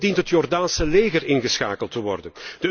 Ook dient het Jordaanse leger ingeschakeld te worden.